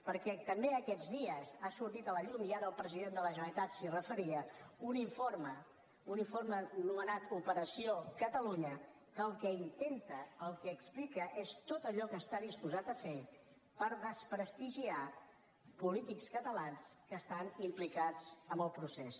perquè també aquests dies ha sortit a la llum i ara el president de la generalitat s’hi referia un informe un informe anomenat operació catalunya que el que intenta el que explica és tot allò que està disposat a fer per desprestigiar polítics catalans que estan implicats en el procés